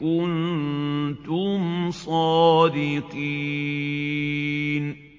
كُنتُمْ صَادِقِينَ